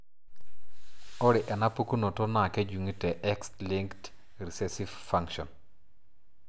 Ore enapukunoto naa kejungi te X linked recessive fashion.